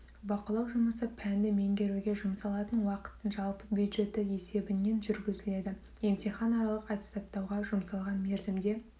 бақылау жұмысы пәнді меңгеруге жұмсалатын уақыттың жалпы бюджеті есебінен жүргізіледі емтихан аралық аттестаттауға жұмсалған мерзімде